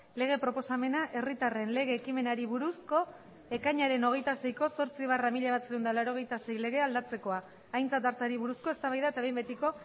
lege proposamena herritarren lege ekimenari buruzko ekainaren hogeita seiko zortzi barra mila bederatziehun eta laurogeita sei legea aldatzekoa aintzat hartzeari buruzko eztabaida eta behin betiko